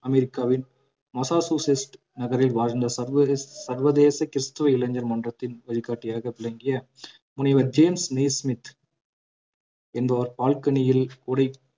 அமெரிக்காவின் மாசசூசெட்ஸ் நகரில் வாழ்ந்த சர்வதேச சர்வதேச கிறிஸ்தவ இளைஞர் மன்றத்தின் வழிகாட்டியாக விளங்கிய முனைவர் ஜேம்ஸ் நெய்ஸ்மித் என்பவர் பால்கனியில் கூடை